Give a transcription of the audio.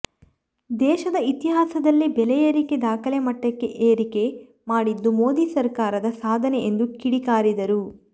ದೇಶದ ಇತಿಹಾಸದಲ್ಲೆ ಬೆಲೆ ಏರಿಕೆ ದಾಖಲೆ ಮಟ್ಟಕ್ಕೆ ಏರಿಕೆ ಮಾಡಿದ್ದು ಮೋದಿ ಸರಕಾರದ ಸಾಧನೆ ಎಂದು ಕಿಡಿಗಾರಿದರು